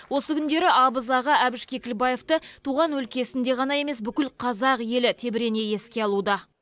осы күндері абыз аға әбіш кекілбаевты туған өлкесінде ғана емес бүкіл қазақ елі тебірене еске алуда